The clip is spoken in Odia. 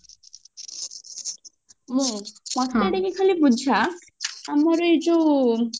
ମୁଁ ମତେ ଟିକେ ଖାଲି ବୁଝା ଆମର ଏଇ ଯୋଉ